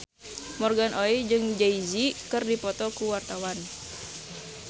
Morgan Oey jeung Jay Z keur dipoto ku wartawan